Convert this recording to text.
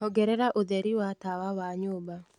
ongerera ũtheri wa tawa wa nyũmba